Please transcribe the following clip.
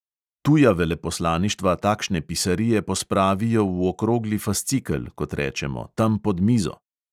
Tuja veleposlaništva takšne pisarije pospravijo v okrogli fascikel, kot rečemo, tam pod mizo.